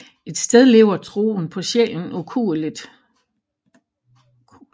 Et sted lever troen på sjælen ukueligt